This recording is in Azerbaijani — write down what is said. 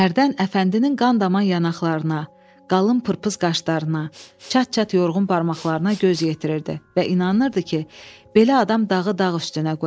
Hərdən Əfəndinin qan-daman yanaqlarına, qalın pırpız qaşlarına, çat-çat yorğun barmaqlarına göz yetirirdi və inanırdı ki, belə adam dağı dağ üstünə qoyar.